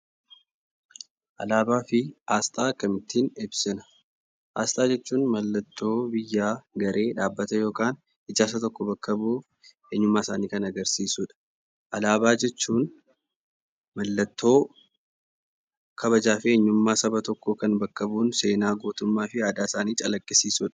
Alaabaa fi asxaa akkamiin ibsina? Asxaa jechuun mallattoo ibsa gareedhaabbata yookiin ijaarsaa bakka bu'u eenyummaa isaanii kan agarsiisudha. Alaabaa jechuun mallattoo kabajaa fi eenyummaa saba tokkoo bakka bu'uun seenaa gootummaa fi aadaa isaanii calaqqisiisudha.